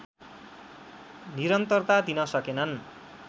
निरन्तरता दिन सकेनन्